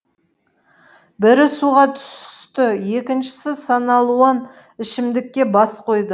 бірі суға түсті екіншісі саналуан ішімдікке бас қойды